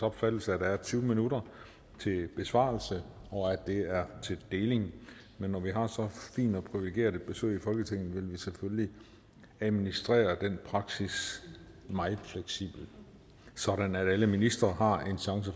opfattelse at der er tyve minutter til besvarelse og at det er til deling men når vi har et så fint og privilegeret besøg i folketinget vil vi selvfølgelig administrere den praksis meget fleksibelt sådan at alle ministre har en chance